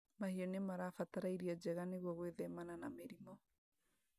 Mahiũ nĩmarabatara irio njega nĩguo gwĩthemana na mĩrimũ